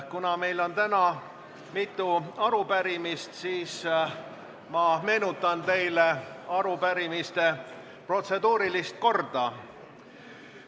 Kuna meil on täna mitu arupärimist, siis ma meenutan teile arupärimiste protseduurilist korda.